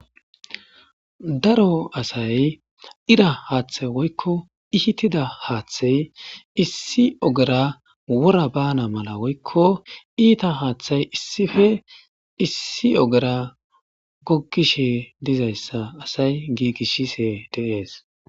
Daro asay ira haaththay woykko ihitida haaththey issi ogera wora baana mala woykko iita haaththay issife issi ogera gogishe dizayssa asay giigishise deees.